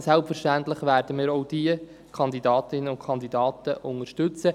selbstverständlich werden wir auch diese Kandidatinnen und Kandidaten unterstützen.